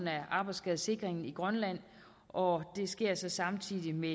af arbejdsskadesikringen i grønland og det sker så samtidig med